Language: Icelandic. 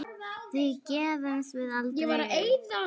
Því gefumst við aldrei upp.